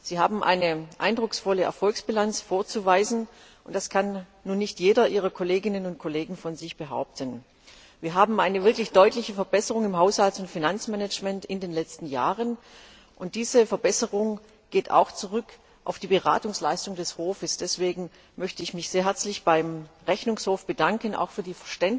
Sie haben eine eindrucksvolle Erfolgsbilanz vorzuweisen, und das kann nun nicht jeder Ihrer Kolleginnen und Kollegen von sich behaupten. Wir haben in den letzten Jahren eine wirklich deutliche Verbesserung im Haushalts und Finanzmanagment, und diese Verbesserung geht auch auf die Beratungsleistung des Hofes zurück. Deswegen möchte ich mich sehr herzlich beim Rechnungshof bedanken, auch für